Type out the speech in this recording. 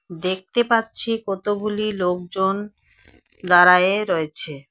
দেখতে পাচ্ছি কতগুলি লোকজন দাঁড়ায়ে রয়েছে।